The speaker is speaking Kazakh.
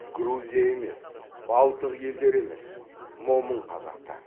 грузия емес балтық елдері емес момын қазақтар